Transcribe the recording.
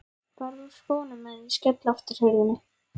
Farðu úr skónum á meðan ég skelli aftur hurðinni.